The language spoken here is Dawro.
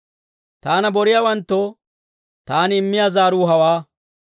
Taana boriyaawanttoo taani immiyaa zaaruu hawaa.